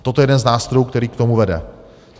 Toto je jeden z nástrojů, který k tomu vede.